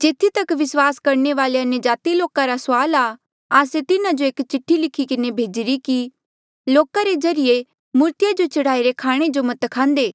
जेथी तक विस्वास करणे वाले अन्यजाति लोका रा सवाल आ आस्से तिन्हा जो एक चिठ्ठी लिखी किन्हें भेजिरी कि लोका रे ज्रीए मूर्तिया जो चढ़ाई रे खाणे जो मत खांदे